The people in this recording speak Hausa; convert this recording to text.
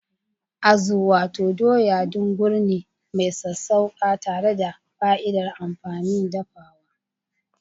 Azu: Wato Doya, dungur ne mai sassauƙa tare da fa'idar amfanin dafuwa.